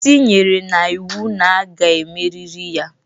isi nyere na iwu na a ga-emerịrị ya